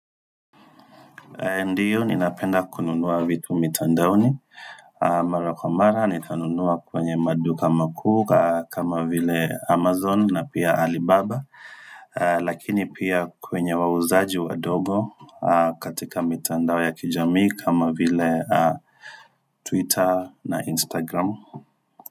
Ndio ninapenda kununua vitu mitandaoni Mara kwa mara nitanunua kwenye maduka makuu kama vile amazon na pia alibaba Lakini pia kwenye wauzaji wandogo katika mitandao ya kijamii kama vile twitter na instagram.